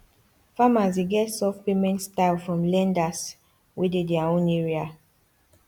farmers dey get soft payment style from lenders wey dey their own area